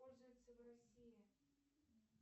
пользуется в россии